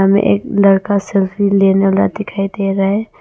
हमें एक लड़का सेल्फी लेने वाला दिखाई दे रहा है।